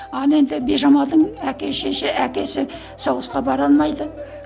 ал енді бижамалдың әкесі соғысқа бара алмайды